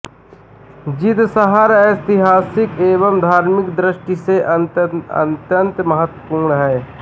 जींद शहर ऐतिहासिक एवं धार्मिक दृष्टि से अत्यन्त महत्त्वपूर्ण है